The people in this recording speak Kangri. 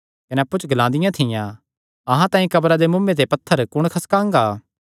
कने अप्पु च ग्लादियां थियां अहां तांई कब्रा दे मुँऐ ते पत्थरे कुण खसकांगा